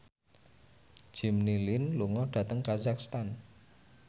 Jimmy Lin lunga dhateng kazakhstan